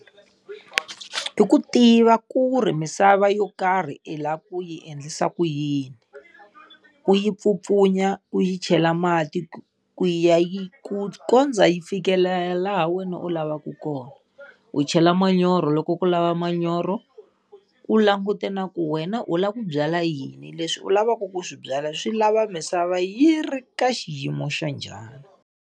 I ku tiva ku ri misava yo karhi i lava ku yi endlisa ku yini. Ku yi pfupfunya u yi chela mati, ku ya yi ku kondza yi fikelela wena u lavaka kona. U chela manyoro loko ku lava manyoro, u langute na ku wena u lava ku byala yini. Leswi u lavaka ku swi byala swi lava misava yi ri ka xiyimo xa njhani.